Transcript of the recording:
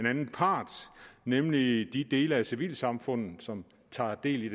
anden part nemlig de dele af civilsamfundet som tager del i